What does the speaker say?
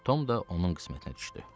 Tom da onun qismətinə düşdü.